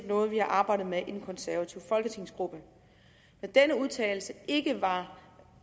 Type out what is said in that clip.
noget vi har arbejdet med i den konservative folketingsgruppe når den udtalelse ikke var